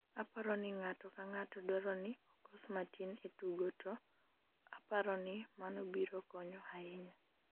aparo ni ng'ato kang'ato dwaro ni okos matin e tugo to aparo ni mano biro konyo ahinya